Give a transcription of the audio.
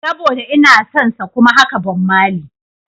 Saboda inason sa kuma haka Bob Marley.